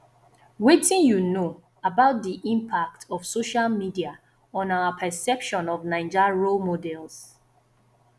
wetin you know about di impact of social media on our perception of naija role models